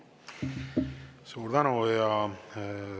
Suur tänu!